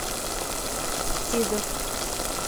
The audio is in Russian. сидр